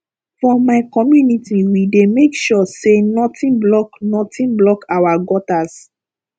for my community we dey make sure sey nothing block nothing block our gutters